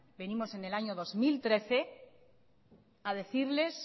venimos en el dos mil trece a decirles